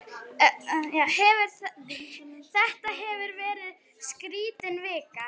Þetta hefur verið skrítin vika.